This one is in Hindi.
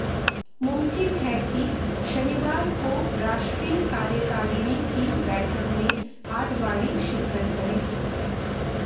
मुमकिन है कि शनिवार को राष्ट्रीय कार्यकारिणी की बैठक में आडवाणी शिरकत करें